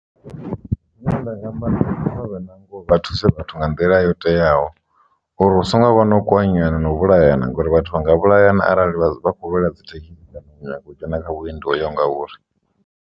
Zwine nda nga amba kha vha vhe na ngoho vha thuse vhathu nga nḓila yo teaho uri hu songo vha no kwanyana no vhulayana ngauri vhathu vha nga vhulayana arali vha vha khou lwela dzi thekhisi kana nyaga u dzhena kha vhuendi ho yaho ngauri.